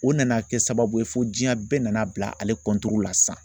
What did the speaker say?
O nana kɛ sababu ye fo diɲɛ bɛɛ nana bila ale la sisan